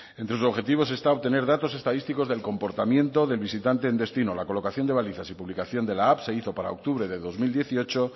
entre sus objetivos está obtener datos estadísticos del comportamiento del visitante en destino la colocación de balizas y publicación de la app se hizo para octubre de dos mil dieciocho